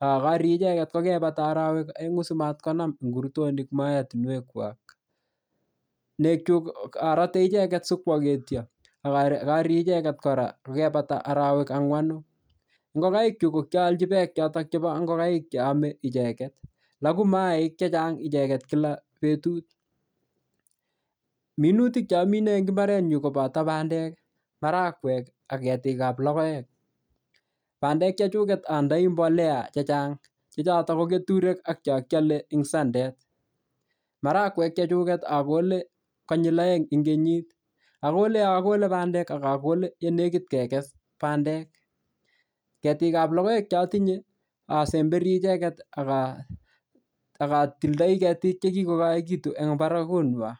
akarie icheget kokaibata orowek oeng'u simatkonam ngurtonik mootinwekwak nekchuk arate icheget sikoogetyo akarie icheget kora kokaibata orowek ang'wanu ngokaikchu kokiaolji beek chotok chebo ngokaik cheomei icheget logu mayaik chechang' icheget kila betut minutia cheamine eng' imbarenyu kobato bandek marakwek ak ketikab logoek bandek chechunget andenoi mbolea chechang' chechoto ko keturek ak chokialei eng' sendet marakwek chechunget akole konyil oeng' eng' kenyit akole yo akole bandek akakole yelegit kekes bandek ketikab logoek chatinye asemberi icheget akatildoi ketik chekikokoikitu eng' barakung'wai